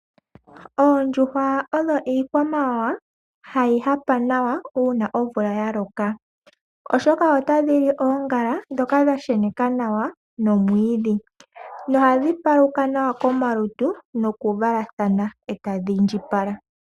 Oondjuhwa odho iikwamawawa hayi koko nawa uuna omvula yaloka oshoka otadhili oongala ndhoka dhasheneka nawa nomwiidhi nohadhi paluka nawa komalutu noku valathana etadhi indjipala.